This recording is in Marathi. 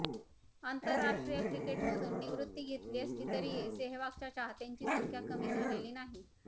आंतरराष्ट्रीय क्रिकेटमधून निवृत्ती घेतली असली तरीही सेहवागच्या चाहत्यांची संख्या कमी झालेली नाही